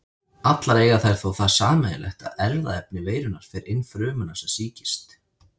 Allar eiga þær þó það sameiginlegt að erfðaefni veirunnar fer inn frumuna sem sýkist.